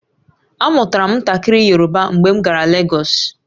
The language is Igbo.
Amụtara m ntakịrị Yoruba mgbe m gara Legọsụ